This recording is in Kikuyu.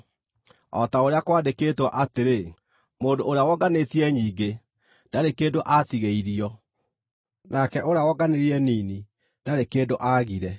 o ta ũrĩa kwandĩkĩtwo atĩrĩ: “Mũndũ ũrĩa wonganĩtie nyingĩ, ndarĩ kĩndũ aatigĩirio; nake ũrĩa wonganirie nini, ndarĩ kĩndũ aagire.”